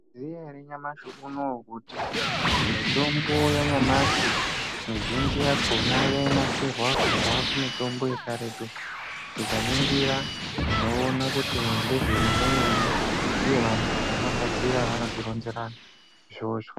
Maizviziya ere nyamashi unowu kuti mitombo yanyamashi, mizhinji yakhona yainasirwa kubva kumitambo yekaretu. Tikaningira tinoona kuti ngezvemene-mene, uye vantu vanogadzira vanotironzera izvozvo.